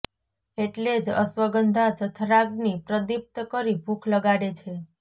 એટલે જ અશ્વગંધા જઠરાગ્નિ પ્રદીપ્ત કરી ભૂખ લગાડે છે